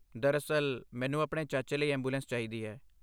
ਦਰਅਸਲ, ਮੈਨੂੰ ਆਪਣੇ ਚਾਚੇ ਲਈ ਐਂਬੂਲੈਂਸ ਚਾਹੀਦੀ ਹੈ।